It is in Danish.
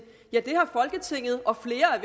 ja det har folketinget og flere af